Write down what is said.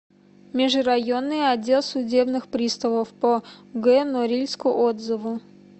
межрайонный отдел судебных приставов по г норильску отзывы